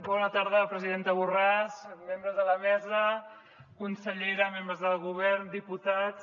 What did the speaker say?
bona tarda presidenta borràs membres de la mesa consellera membres del govern diputats